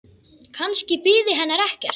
Kannski biði hennar ekkert.